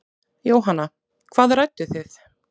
Jóhanna: Hvað rædduð þið?